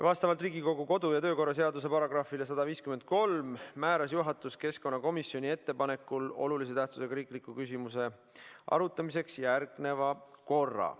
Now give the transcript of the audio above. Vastavalt Riigikogu kodu- ja töökorra seaduse §-le 153 määras juhatus keskkonnakomisjoni ettepanekul olulise tähtsusega riikliku küsimuse arutamiseks järgneva korra.